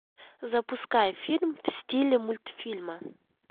запускай фильм в стиле мультфильма